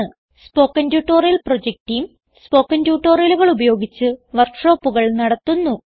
spoken tutorial project team spoken ട്യൂട്ടോറിയലുകൾ ഉപയോഗിച്ച് വർക്ക് ഷോപ്പുകൾ നടത്തുന്നു